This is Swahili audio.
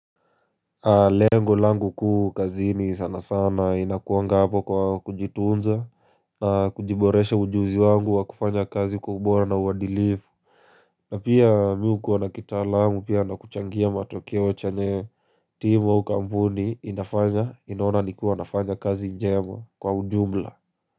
Lengo langu kuu kazini sana sana inakuanga hapo kwa kujituunza na kujiboresha ujuzi wangu wa kufanya kazi kwa ubora na uwadilifu na pia mi hukuwa na kitalamu pia na kuchangia matokeo chenye team au kampuni inafanya inaona ni kuwa nafanya kazi njema kwa ujumla.